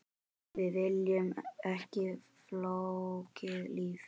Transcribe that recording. Við viljum ekki flókið líf.